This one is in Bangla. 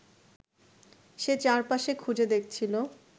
সে চারপাশে খুঁজে দেখছিল